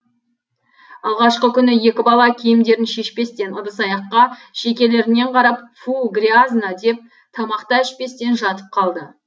алғашқы күні екі бала киімдерін шешпестен ыдыс аяққа шекелерінен қарап фу грязно деп тамақ та ішпестен жатып қалды